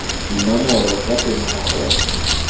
dinomoro ka teng ga gona